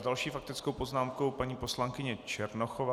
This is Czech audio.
S další faktickou poznámkou paní poslankyně Černochová.